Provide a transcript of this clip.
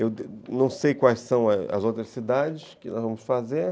Eu não sei quais são as outras cidades que nós vamos fazer.